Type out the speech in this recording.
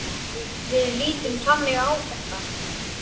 Við lítum þannig á þetta.